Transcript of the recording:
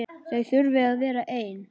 Þau þurfi að vera ein.